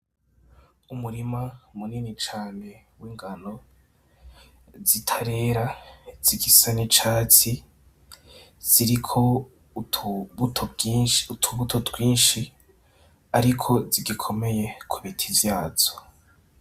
Umurima munini cane w'ingano zitarera, zigisa n'icatsi ziriko utubuto twinshi ariko zigikomeye ku biti vyazo.